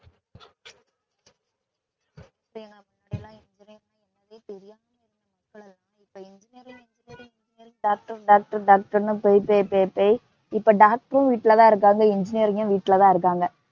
அப்ப engineering engineering engineering doctor doctor doctor ன்னு போய் போய் போய், இப்ப doctor ஊ வீட்லதான் இருக்காங்க. engineering ஊ வீட்லதான் இருக்காங்க.